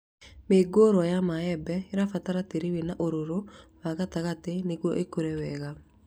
Mĩũngũrwa ya mĩembe ĩbataraga tĩĩri wĩna ũrũrũ wa gatagatĩ nĩguo ĩkũre wega